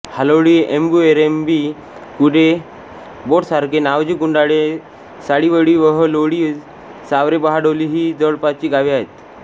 हालोळीएम्बुरऐरंबी कुडे बोट साखरे नावझे गुंडावे साळिवळी वेहलोळी सावरे बहाडोली ही जवळपासची गावे आहेत